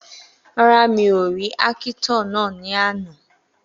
Rárá, mi ò ní ákítọ̀ náà ní àná